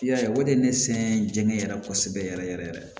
I y'a ye o de ye ne sɛgɛn jɛngɛn yɛrɛ kosɛbɛ yɛrɛ yɛrɛ